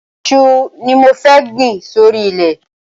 Iṣu ni mo fẹ́ gbìn sórí ilẹ̀.